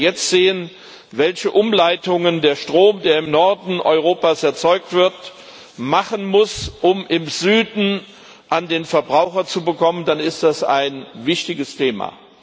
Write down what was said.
Und wenn wir jetzt sehen, welche Umleitungen der Strom, der im Norden Europas erzeugt wird, machen muss, um im Süden an den Verbraucher zu kommen, dann ist das ein wichtiges Thema.